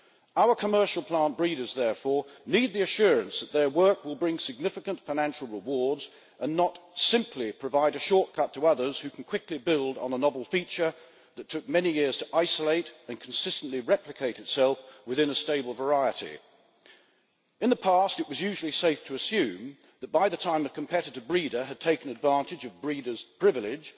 Our commercial plant breeders therefore need the assurance that their work will bring significant financial rewards and not simply provide a shortcut to others who can quickly build on a novel feature that took many years to isolate and consistently replicate itself within a stable variety. In the past, it was usually safe to assume that by the time a competitor breeder had taken advantage of breeders' privilege